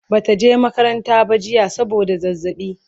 Bata je makaranta ba jiya saboda zazzaɓi